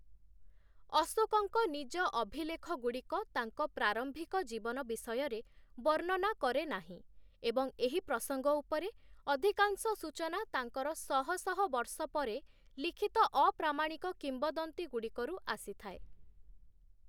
ଅଶୋକଙ୍କ ନିଜ ଅଭିଲେଖଗୁଡ଼ିକ ତାଙ୍କ ପ୍ରାରମ୍ଭିକ ଜୀବନ ବିଷୟରେ ବର୍ଣ୍ଣନା କରେ ନାହିଁ, ଏବଂ ଏହି ପ୍ରସଙ୍ଗ ଉପରେ ଅଧିକାଂଶ ସୂଚନା ତାଙ୍କର ଶହ ଶହ ବର୍ଷ ପରେ ଲିଖିତ ଅପ୍ରାମାଣିକ କିମ୍ବଦନ୍ତୀଗୁଡ଼ିକରୁ ଆସିଥାଏ ।